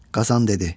Qazan dedi: